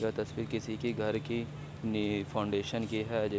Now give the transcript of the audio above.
यह तस्वीर किसी की घर की फाउंडेशन की है।